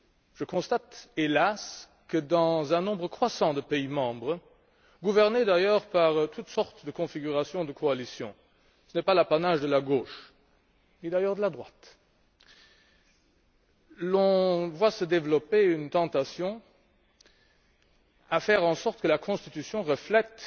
Je constate, hélas, que dans un nombre croissant de pays membres, gouvernés d'ailleurs par toutes sortes de configurations de coalitions ce n'est pas l'apanage de la gauche, ni d'ailleurs celui de la droite. On voit se développer une tendance à faire en sorte que la constitution reflète